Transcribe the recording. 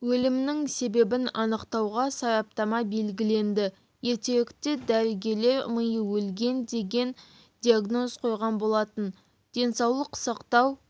өлімінің себебін анықтауға сараптама белгіленді ертеректе дәрігерлер миы өлген деген диагноз қойған болатын денсаулық сақтау